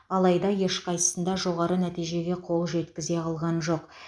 алайда ешқайсысында жоғары нәтижеге қол жеткізе алған жоқ